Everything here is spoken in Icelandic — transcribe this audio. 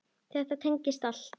Þetta tengist allt.